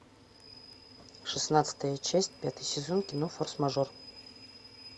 шестнадцатая часть пятый сезон кино форс мажор